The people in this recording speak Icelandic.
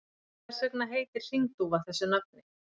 Hvers vegna heitir hringdúfa þessu nafni?